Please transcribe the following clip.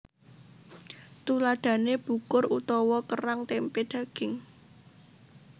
Tuladhané bukur utawa kerang tempé daging